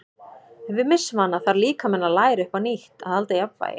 Ef við missum hana þarf líkaminn að læra upp á nýtt að halda jafnvægi.